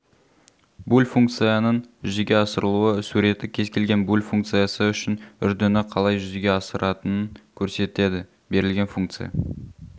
буль функцияның жүзеге асырылуы суреті кез-келген буль функциясы үшін үрдіні қалай жүзеге асыратынын көрсетеді берілген функция